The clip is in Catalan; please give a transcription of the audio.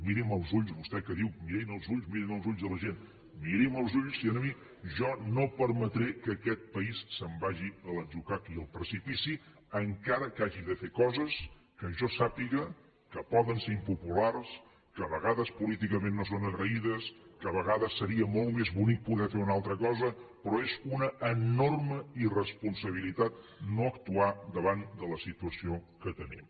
miri’m als ulls vostè que diu mirin als ulls mirin als ulls de la gent miri’m als ulls a mi jo no permetré que aquest país se’n vagi a l’atzucac i al precipici encara que hagi de fer coses que jo sàpiga que poden ser impopulars que a vegades políticament no són agraïdes que a vegades seria molt més bonic poder fer una altra cosa però és una enorme irresponsabilitat no actuar davant de la situació que tenim